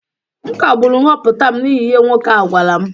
M kagburu nhọpụta m n’ihi ihe nwoke ahụ gwara m